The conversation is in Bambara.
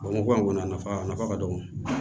Bamakɔ yan kɔni a nafa a nafa ka dɔgɔ